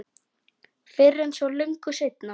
Fyrr en svo löngu seinna.